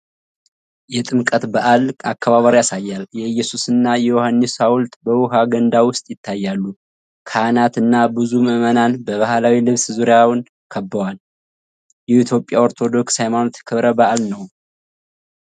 የጥምቀት በዓል አከባበር ያሳያል። የኢየሱስ እና የዮሐንስ ሐውልት በውሃ ገንዳ ውስጥ ይታያሉ። ካህናት እና ብዙ ምዕመናን በባህላዊ ልብስ ዙሪያውን ከበዋል። የኢትዮጵያ ኦርቶዶክስ ሃይማኖት ክብረ በዓል ነው?